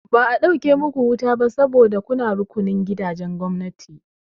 Ba a ɗauke muku wuta ba sabo da kuna rukunin gidajen gwamnati.